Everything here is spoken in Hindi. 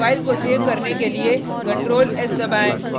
अब फाइल को सेव करने के लिए ctrl+s दबाएँ